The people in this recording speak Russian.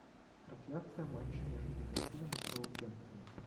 трансляция матча между ливерпулем и саутгемптоном